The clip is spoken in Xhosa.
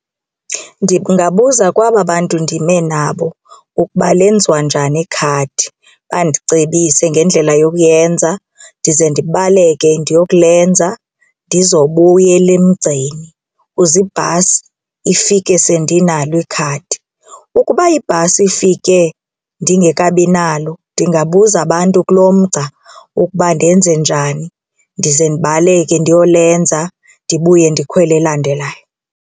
Ndingabuza kwaba bantu ndime nabo ukuba lenziwa njani ikhadi bandicebise ngendlela yokuyenza ndize ndibaleke ndiyokulenza ndizobuyela emgceni kuze ibhasi ifike sendinalo ikhadi. Ukuba ibhasi ifike ndingekabinalo ndingabuza abantu kulo mgca ukuba ndenze njani ndize ndibaleke ndiyolenza ndibuye ndikhwele elandelayo.